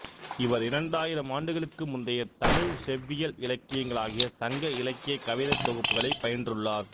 இவர் இரண்டாயிரம் ஆண்டுகளுக்கு முந்தைய தமிழ்ச் செவ்வியல் இலக்கியங்களாகிய சங்க இலக்கியக் கவிதைத் தொகுப்புகளைப் பயின்றுள்ளார்